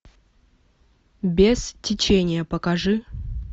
без течения покажи